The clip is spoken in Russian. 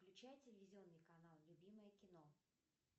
включай телевизионный канал любимое кино